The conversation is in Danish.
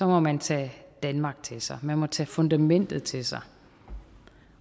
må man tage danmark til sig man må tage fundamentet til sig